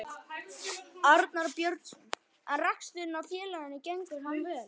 Arnar Björnsson: En reksturinn á félaginu gengur hann vel?